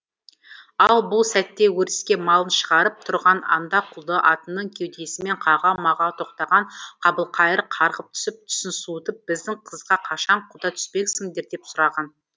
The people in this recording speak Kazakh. ал бұл сәтте өріске малын шығарып тұрған андақұлды атының кеудесімен қаға маға тоқтаған қабылқайыр қарғып түсіп түсін суытып біздің қызға қашан құда түспексіңдер деп сұраған